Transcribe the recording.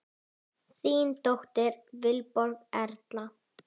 Þín dóttir, Vilborg Erla.